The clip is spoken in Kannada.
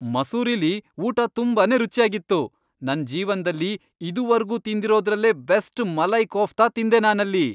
ಮಸೂರಿಲಿ ಊಟ ತುಂಬಾನೇ ರುಚ್ಯಾಗಿತ್ತು. ನನ್ ಜೀವನ್ದಲ್ಲಿ ಇದುವರ್ಗೂ ತಿಂದಿರೋದ್ರಲ್ಲೇ ಬೆಸ್ಟ್ ಮಲೈ ಕೋಫ್ತಾ ತಿಂದೆ ನಾನಲ್ಲಿ.